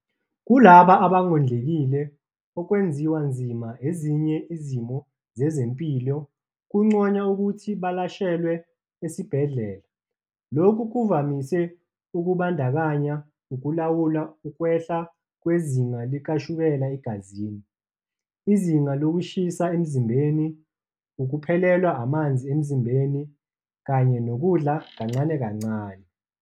Kulabo abangondlekile okwenziwa nzima ezinye izimo zezempilo kunconywa ukuthi balashelwe esibhedlela. Lokhu kuvamise ukubandakanya ukulawula ukwehla kwezinga likashukela egazini, izinga lokushisa emzimbeni, ukuphelelwa amanzi emzimbeni, kanye nokudla kancane kancane.